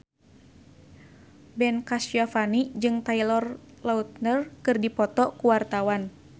Ben Kasyafani jeung Taylor Lautner keur dipoto ku wartawan